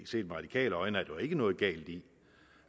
set med radikale øjne er der jo ikke noget galt i